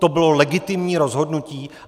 To bylo legitimní rozhodnutí.